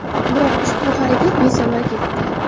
Biroq ushbu harakat besamar ketdi.